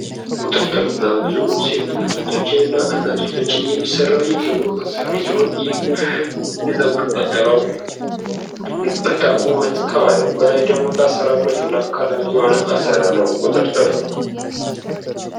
ቁጥርጥር በብዙ ሴት እህቶቻችን እና እናቶቻችን የሚሠራ የፀጉር አሰራር ሲሆን ይህ የፀጉር አሰራር በጣም ውበት ከማድረጉ በላይ ደግሞ ለአሰራር ምቹ እና ቀላል የሆነ አሰራር ነው። ቁጥርጥር